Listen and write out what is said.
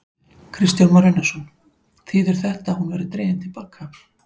Kristján Már Unnarsson: Þýðir þetta að hún verði dregin til baka?